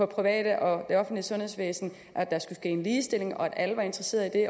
private og det offentlige sundhedsvæsen at der skulle ske en ligestilling at alle var interesseret i det